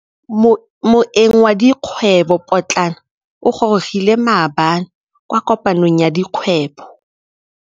Moêng wa dikgwêbô pôtlana o gorogile maabane kwa kopanong ya dikgwêbô.